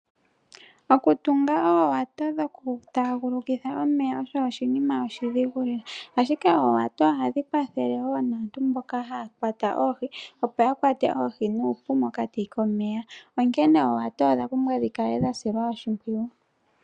Oku tunga oowato dhoku tagulukitha omeya osho oshinima oshidhigu lela, ashike oowato ohadhi kwathelewo naantu mboka haya kwata oohi opoya kwate oohi nuupu mokati komeya, onkene oowato odha pumbwa dhikale dhasilwa oshipwiyu.